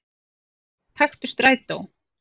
Eða taktu strætó.